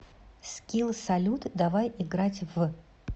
скилл салют давай играть в